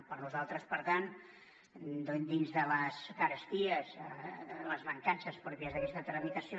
per nosaltres per tant dins de les caresties i les mancances pròpies d’aquesta tramitació